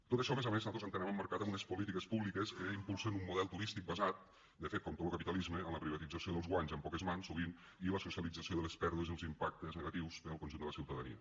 tot això a més a més nosaltres ho entenem emmarcat en unes polítiques públiques que impulsen un model turístic basat de fet com tot lo capitalisme en la privatització dels guanys en poques mans sovint i la socialització de les pèrdues i els impactes negatius per al conjunt de la ciutadania